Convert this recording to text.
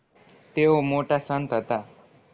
તેઓ મોટા સંત હતા